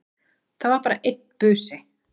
Það var bara einn busi!